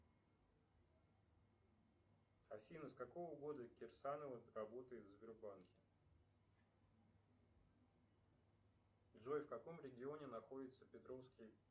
афина с какого года кирсанова работает в сбербанке джой в каком регионе находится петровский